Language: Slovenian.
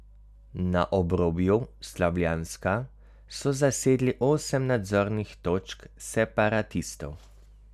Na obrobju Slavjanska so zasedli osem nadzornih točk separatistov.